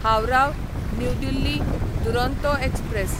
Howrah new Delhi Duronto express